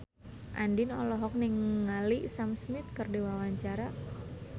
Andien olohok ningali Sam Smith keur diwawancara